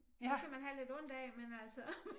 Dem kan man have lidt ondt af men altså